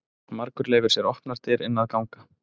Margur leyfir sér opnar dyr inn að ganga.